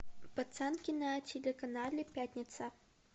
пацанки на телеканале пятница